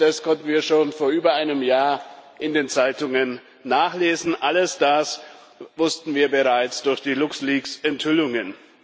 All das konnten wir schon vor über einem Jahr in den Zeitungen nachlesen, all das wussten wir bereits durch die LuxLeaks Enthüllungen.